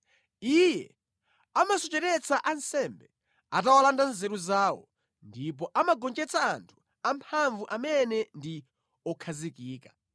Iye amasocheretsa ansembe atawalanda nzeru zawo ndipo amagonjetsa anthu amphamvu amene ndi okhazikika.